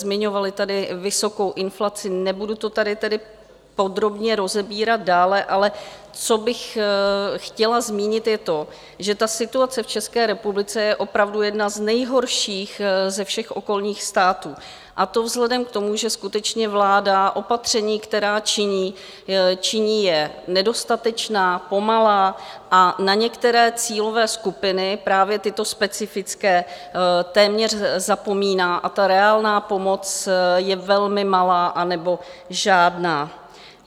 Zmiňovali tady vysokou inflaci, nebudu to tady tedy podrobně rozebírat dále, ale co bych chtěla zmínit, je to, že ta situace v České republice je opravdu jedna z nejhorších ze všech okolních států, a to vzhledem k tomu, že skutečně vláda opatření, která činí, činí je nedostatečná, pomalá a na některé cílové skupiny, právě tyto specifické, téměř zapomíná a ta reálná pomoc je velmi malá nebo žádná.